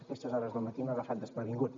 a aquestes hores del matí m’ha agafat desprevingut